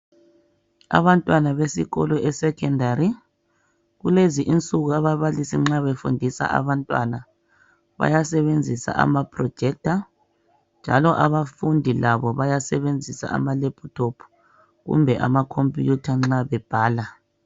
Abantwana besikolo esecondary kulezi insuku ababalisi nxa befundisa abantwana bayasebenzisa amaprojector njalo abafundi labo bayasebenzisa amaLaptop kumbe amakhompiyutha nxa bebhala.